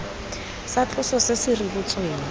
sa tloso se se rebotsweng